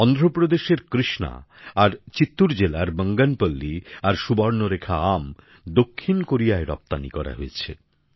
অন্ধ্রপ্রদেশের কৃষ্ণা আর চিত্তুর জেলার বঙ্গনপল্লী আর সুবর্ণরেখা আম দক্ষিণ কোরিয়ায় রপ্তানী করা হয়েছে